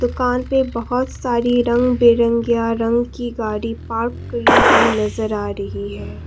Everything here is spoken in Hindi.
दुकान पे बहोत सारी रंग बिरंगेया रंग की गाड़ी पार्क की हुई नजर आ रही है।